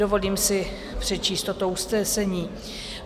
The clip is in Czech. Dovolím si přečíst toto usnesení: